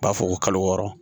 U b'a fɔ ko kalo wɔɔrɔ